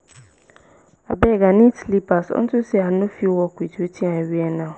abeg i need slippers unto say i no fit work with wetin i wear now